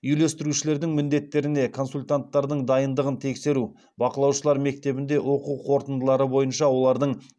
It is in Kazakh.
үйлестірушілердің міндеттеріне консультанттардың дайындығын тексеру бақылаушылар мектебінде оқу қорытындылары бойынша олардың